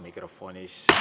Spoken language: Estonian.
Aitäh teile, kolleegid!